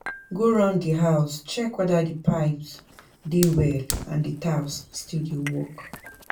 Go round di house check weda di pipes dey well and di taps still dey work